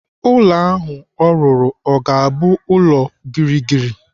Ụlọ ahụ ọ rụrụ o ga-abụ ulo gịrịgịrị?